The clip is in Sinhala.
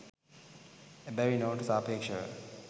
එබැවින් ඔවුන්ට සාපේක්‍ෂව